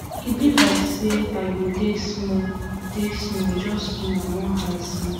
e be like say i go take small take small just small i wan high small